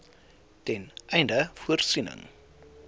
ten einde voorsiening